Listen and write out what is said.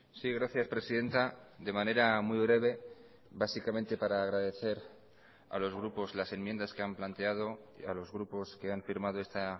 sí gracias presidenta de manera muy breve básicamente para agradecer a los grupos las enmiendas que han planteado a los grupos que han firmado esta